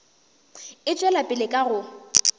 e tšwela pele ka go